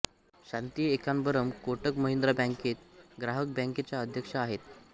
शांती एकांबरम कोटक महिंद्रा बँकेत ग्राहक बँकिंगच्या अध्यक्षा आहेत